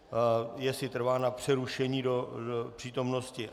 Jestli trvá na přerušení do přítomnosti?